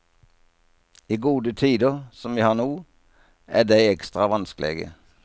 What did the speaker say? I gode tider, som vi har no, er dei ekstra vanskelege.